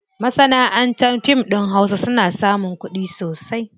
Masanaʼantar fim ɗin hausa suna samun kuɗi masu yawa.